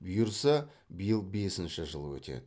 бұйырса биыл бесінші жыл өтеді